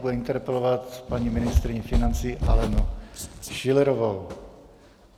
Bude interpelovat paní ministryni financí Alenu Schillerovou.